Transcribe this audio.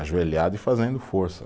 Ajoelhado e fazendo força.